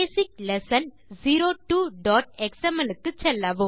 basic lesson 02xml க்கு செல்லவும்